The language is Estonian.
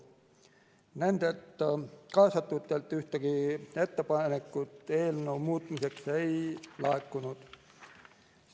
Nendelt ühtegi ettepanekut eelnõu muutmiseks ei laekunud.